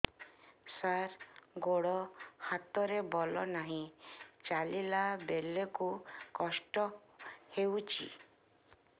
ସାର ଗୋଡୋ ହାତରେ ବଳ ନାହିଁ ଚାଲିଲା ବେଳକୁ କଷ୍ଟ ହେଉଛି